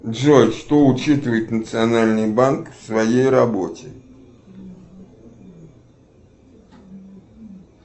джой что учитывает национальный банк в своей работе